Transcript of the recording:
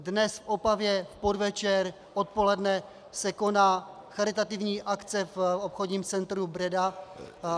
Dnes v Opavě v podvečer, odpoledne, se koná charitativní akce v obchodním centru Breda -